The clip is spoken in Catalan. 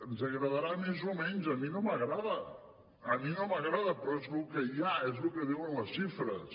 ens agradarà més o menys a mi no m’agrada a mi no m’agrada però és lo que hi ha és lo que diuen les xifres